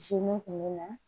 Ji mun kun bɛ na